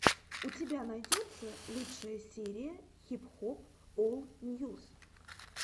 у тебя найдется лучшая серия хип хоп ол ньюс